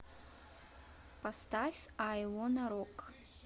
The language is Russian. поставь ай вонна рок